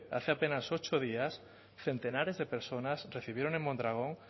hace apenas ocho días centenares de personas recibieron en mondragón